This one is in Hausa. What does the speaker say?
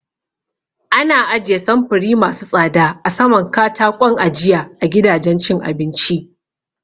Ana ajiye samfuri masu tsada a saman kataƙon ajiya a gidajen cin abinci